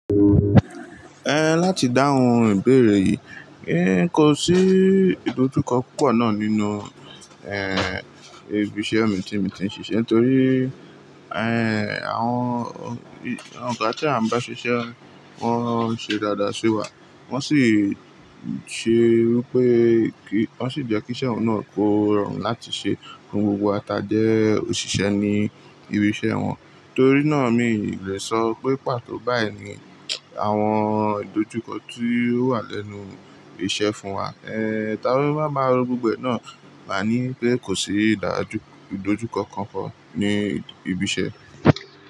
Láti dáhùn ìbéèrè yìí, nko sí ìdojúkọ púpọ̀ náà nínú, ibi iṣẹ́ mi tí mo ti ń ṣiṣẹ́ torí, àwọn ògà tí à ń bá ṣiṣẹ́, wọ́n ṣe dáadáa sí wa, wọ́n sì ṣe wípé kí, wọ́n sì jẹ́ kí iṣẹ́ wọn náà kó rọrùn láti ṣe, kí gbogbo wa ta jẹ́ òṣìṣẹ́ ní ibi iṣẹ́ wọn. Torí náà mi ò lè sọ pé pàtó báyìí ni àwọn ìdojúkọ tí ó wà lẹ́nu iṣẹ́ fún wa. Ehn, táwa bá máa ro gbogbo e náà, màá ní pé kò sí ìdojú, ìdojúkọ kankan ní ibi iṣẹ́.